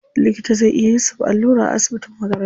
Likita zai iya yusuf allura a asibitin makaranta.